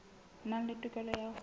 nang le tokelo ya ho